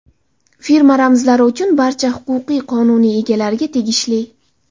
Firma ramzlari uchun barcha huquqlar qonuniy egalariga tegishli.